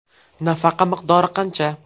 Nafaqa miqdori qancha?